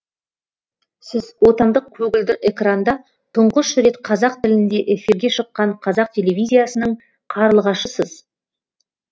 сіз отандық көгілдір экранда тұңғыш рет қазақ тілінде эфирге шыққан қазақ телевизиясының қарлығашысыз